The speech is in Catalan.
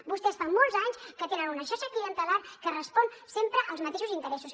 vostès fa molts anys que tenen una xarxa clientelar que respon sempre als mateixos interessos